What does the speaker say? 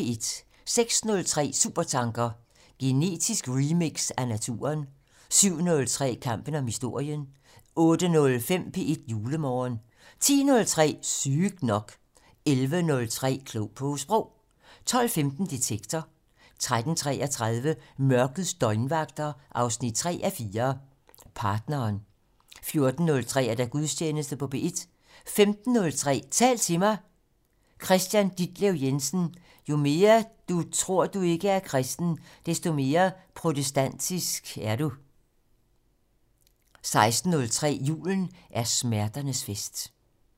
06:03: Supertanker: Genetisk remix af naturen 07:03: Kampen om historien 08:05: P1 Julemorgen 10:03: Sygt nok 11:03: Klog på Sprog 12:15: Detektor 13:33: Mørkets døgnvagter 3:4 - Partneren 14:03: Gudstjeneste på P1 15:03: Tal til mig - Kristian Ditlev Jensen: Jo mere du tror du ikke er kristen, desto mere protestantisk kristen er du 16:03: Julen er smerternes fest